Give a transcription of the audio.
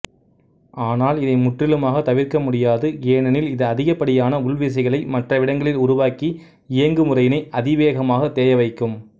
ஆனால் இதை முற்றிலுமாக தவிர்க்கமுடியாது ஏனெனில் இது அதிகப்படியான உள்விசைகளை மற்றவிடங்களில் உருவாக்கி இயந்குமுறையினை அதிவேகமாக தேயவைக்கும்